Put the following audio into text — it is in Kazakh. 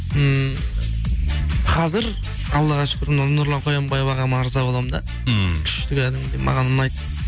ммм қазір аллаға шүкір мынау нұрлан қоянбаев ағама ырза болмын да ммм күшті кәдімгідей маған ұнайды